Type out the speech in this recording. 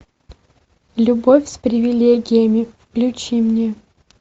любовь с привилегиями включи мне